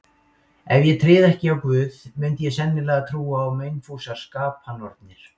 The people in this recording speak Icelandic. Ef ég tryði ekki á Guð, mundi ég sennilega trúa á meinfúsar skapanornir.